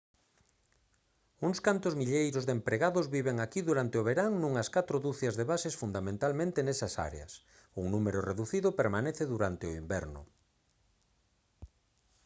uns cantos milleiros de empregados viven aquí durante o verán nunhas catro ducias de bases fundamentalmente nesas áreas un número reducido permanece durante o inverno